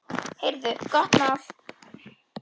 Heyrðu, gott mál!